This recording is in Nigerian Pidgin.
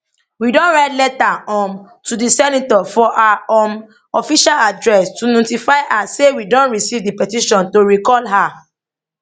we don write letter um to di senator for her um official address to notify her say we don receive di petition to recall her